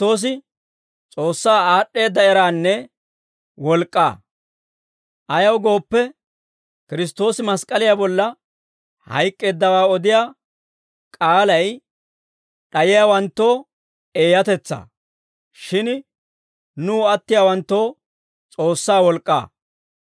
Ayaw gooppe, Kiristtoosi mask'k'aliyaa bolla hayk'k'eeddawaa odiyaa k'aalay d'ayiyaawanttoo eeyatetsaa. Shin nuw attiyaawanttoo S'oossaa wolk'k'aa.